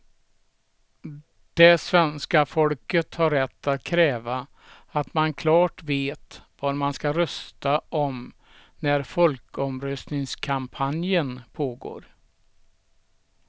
Det svenska folket har rätt att kräva att man klart vet vad man ska rösta om när folkomröstningskampanjen pågår.